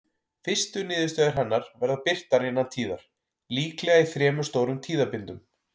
Fyrstu niðurstöður hennar verða birtar innan tíðar, líklega í þremur stórum tíðabindum.